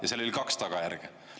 Ja sellel oli kaks tagajärge.